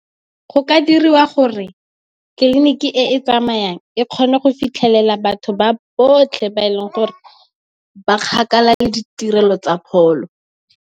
Go ka diriwa gore tleliniki e e tsamayang e kgone go fitlhelela batho ba botlhe ba e leng gore ba kgakala le ditirelo tsa pholo.